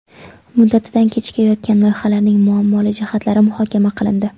Muddatidan kechikayotgan loyihalarning muammoli jihatlari muhokama qilindi.